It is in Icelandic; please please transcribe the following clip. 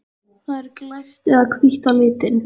Það er glært eða hvítt að lit.